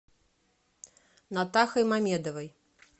натахой мамедовой